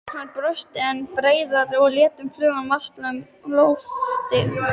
Hann brosti enn breiðar og lét fluguna valsa um loftin.